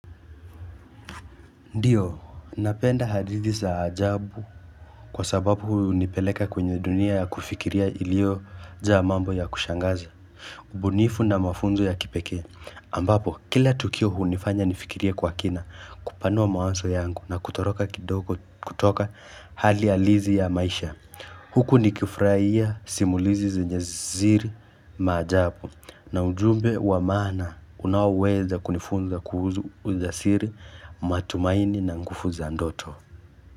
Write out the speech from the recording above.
Ndiyo, napenda hadithi za ajabu kwa sababu hunipeleka kwenye dunia ya kufikiria ilio jaa mambo ya kushangaza. Bunifu na mafunzo ya kipekee, ambapo kila tukio hunifanya nifikirie kwa kina, kupanua mawazo yangu na kutoroka kidogo kutoka hali halisi ya maisha. Huku ni kifurahia simulizi zenye siri maajabu na ujumbe wamaana unaoweza kunifunza kuhusu ujasiri matumaini na nguvu za ndoto.